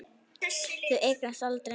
Þau eignast aldrei neitt.